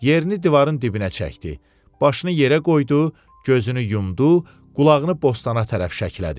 Yerini divarın dibinə çəkdi, başını yerə qoydu, gözünü yumdu, qulağını bostana tərəf şəklədi.